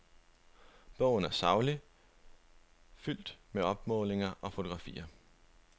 Bogen er saglig, fuldt med opmålinger og fotografier.